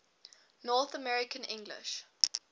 north american english